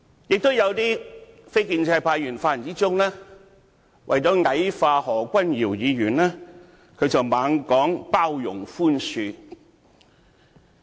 也有一些非建制派議員，在發言中為了矮化何君堯議員，不斷說要"包容和寬恕"。